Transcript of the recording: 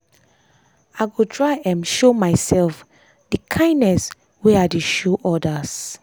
i go try um show myself dey kindness wey i dey show others.